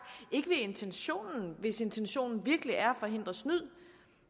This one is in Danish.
ikke intentionen hvis intentionen virkelig er at forhindre snyd